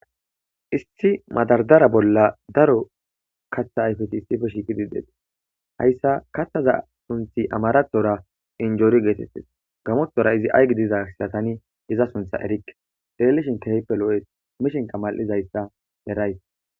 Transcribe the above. Issi madardara bolla daro kathatti issi bolla dees hayssa kathazza sunthi gamothorra inguri getetees amarathorra aygidizza izza suntha erikke.xelishin keyippe loyees mishinkka mal'zzayssa erays